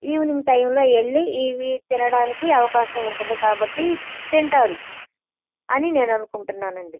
Evening time లో వెళ్లి ఇవి తినడానికి అవకాశం వుంటది కాబటి తింటారు అని నేన్ అనుకుంటునాను అండీ.